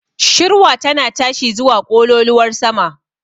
Shirwa tana tashi zuwa ƙololuwar sama.